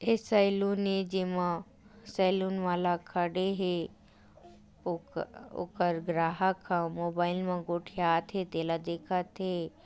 ए saloon ए जेमा saloon वाला खड़े हे ओ ओकर ग्राहक ह मोबाईल गोठिया थे तेला देखा थे।